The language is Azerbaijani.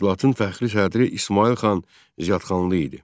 Təşkilatın fəxri sədri İsmayıl xan Ziyadxanlı idi.